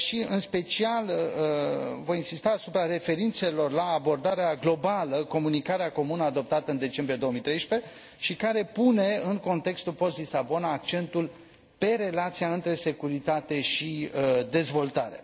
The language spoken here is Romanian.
În special, voi insista asupra referințelor la abordarea globală Comunicarea comună adoptată în decembrie 2013, care pune, în contextul post Lisabona, accentul pe relația dintre securitate și dezvoltare.